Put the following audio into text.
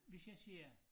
Hvis jeg siger